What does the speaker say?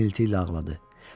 İnilti ilə ağladı.